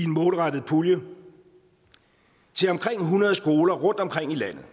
målrettet pulje til omkring hundrede skoler rundtomkring i landet